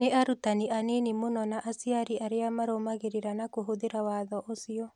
Nĩ arutani anini mũno na aciari arĩa marũmagĩrĩra na kũhũthĩra watho ũcio.